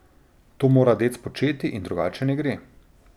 To mora dec početi in drugače ne gre.